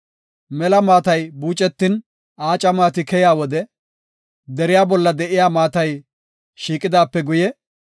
Mela maatay buucetin, aaca maati keya wode, deriya bolla de7iya maatay shiiqidaape guye,